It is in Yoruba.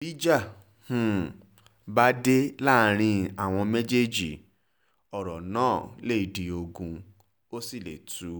bí ìjà um bá dé láàrin àwọn méjèèjì ọ̀rọ̀ náà lè di ogun ó sì lè tú